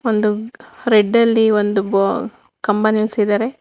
ಒಂದು ರೆಡ್ ಅಲ್ಲಿ ಒಂದು ಬಾ ಕಂಬ ನೀಲ್ಸಿದಾರೆ.